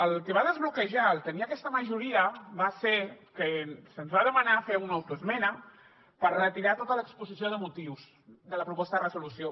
el que va desbloquejar el tenir aquesta majoria va ser que se’ns va demanar fer una autoesmena per retirar tota l’exposició de motius de la proposta de resolució